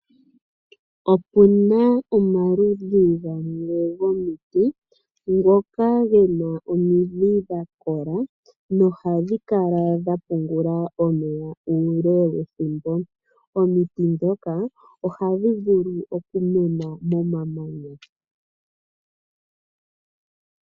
Opuna omaludhi gamwe gomiti ngoka gena omidhi dha kola nohadhi kala dhapungula omeya omeya uule wethimbo ,omiti dhoka ohadhi vulu okumena momamanya.